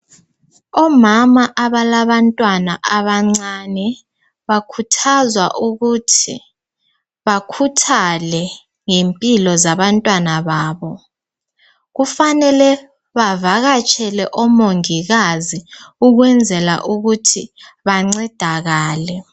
Omama abalabantwana abancane bakhuthazwa ukuthi bakhuthale ngempilo zabantwana babo kufanele bavakatshele omongikazi ukwenzela ukuthi bancedakale .